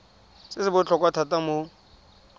se se botlhokwa thata mo